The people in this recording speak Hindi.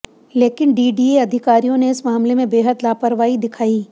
लेकिन डीडीए अधिकारियों ने इस मामले में बेहद लापरवाही दिखाई